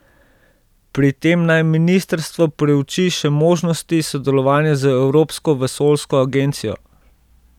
Pri tem naj ministrstvo preuči še možnosti sodelovanja z Evropsko vesoljsko agencijo.